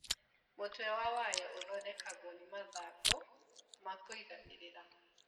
Mũtwe wa wayo ũthondekagwo nĩ mathangũ makwĩiganĩrĩra.